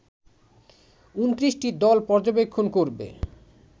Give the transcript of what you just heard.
২৯টি দল পর্যবেক্ষণ করবে